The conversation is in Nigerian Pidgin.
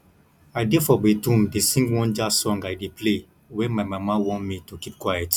i dey for bathroom dey sing one jazz song i dey play wen my mama warn me to keep quiet